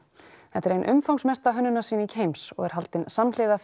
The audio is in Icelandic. þetta er ein umfangsmesta heims og er haldin samhliða